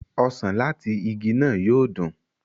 osàn lati ìgi náà yóò dun.